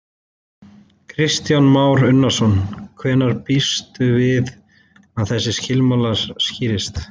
Kristján Már Unnarsson: Hvenær býstu við að þessi mál skýrist?